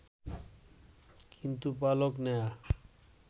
কিন্তু পালক নেয়া